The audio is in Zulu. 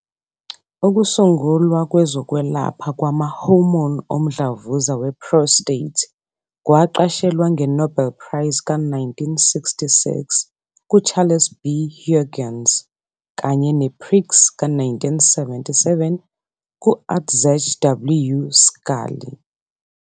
Ukusungulwa kwezokwelapha kwama-hormone omdlavuza we-prostate kwaqashelwa nge-Nobel Prize ka-1966 kUCharles B. Huggins kanye ne-Prix ka-1977 kU-Andrzej W. Schally.